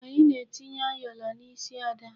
Anyị na-etinye ayọla n'isi Ada.